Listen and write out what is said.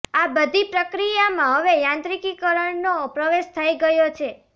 આ બધી પ્રક્રિયામાં હવે યાંત્રીકીકરણનો પ્રવેશ થઈ ગયો છે